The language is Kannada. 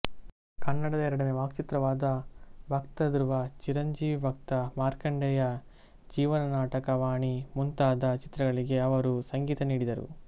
ಕನ್ನಡದ ಎರಡನೇ ವಾಕ್ಚಿತ್ರವಾದ ಭಕ್ತಧ್ರುವ ಚಿರಂಜೀವಿ ಭಕ್ತ ಮಾರ್ಕಂಡೇಯ ಜೀವನ ನಾಟಕ ವಾಣಿ ಮುಂತಾದ ಚಿತ್ರಗಳಿಗೆ ಅವರು ಸಂಗೀತ ನೀಡಿದರು